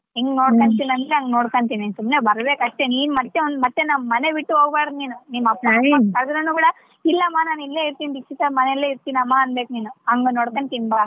ಅಂದ್ರೆ ಹಂಗ್ ನೋಡ್ಕಂತೀನಿ ಸುಮ್ನೆ ಬರ್ಬೆಕ್ ಅಷ್ಟೇ ನೀನ್ ಮತ್ತೆ ಅವ್ನ್ ಮತ್ತೆ ಮನೆ ಬಿಟ್ಟು ಹೋಗ್ಬಾರ್ದು ನೀನು ಕರ್ದುನು ಕೂಡಾ ಇಲ್ಲಮ್ಮ ನಾನ್ ಇಲ್ಲೇ ಇರ್ತೀನಿ ದೀಕ್ಷಿತಾ ಅವ್ರ ಮನೆಲೆ ಇರ್ತೀನಮ್ಮ ಅನ್ಬೇಕ್ ನೀನು ಹಂಗ ನೋಡ್ಕಂತೀನಿ ಬಾ.